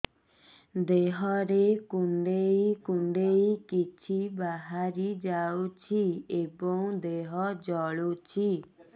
ଦେହରେ କୁଣ୍ଡେଇ କୁଣ୍ଡେଇ କିଛି ବାହାରି ଯାଉଛି ଏବଂ ଦେହ ଜଳୁଛି